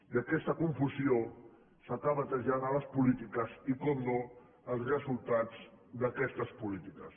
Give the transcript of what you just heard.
i aquesta confusió s’acaba traslladant a les polítiques i naturalment als resultats d’aquestes polítiques